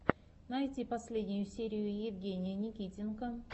найти последнюю серию евгения никитенко